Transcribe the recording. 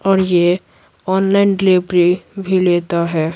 और ये online delivery भी लेता है।